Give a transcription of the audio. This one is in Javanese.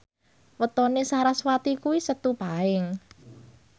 wetone sarasvati kuwi Setu Paing